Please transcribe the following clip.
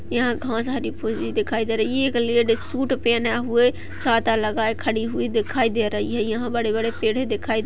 यहाँ घास हरी भूरी दिखाई दे रही है। एक लेडीज सूट पहने हुए छाता लगाए खड़ी हुई दिखाई दे रही है। यह बड़े-बड़े पेड़ दिखाई दे --